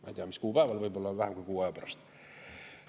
Ma ei tea, mis kuupäeval, võib-olla vähem kui kuu aja pärast.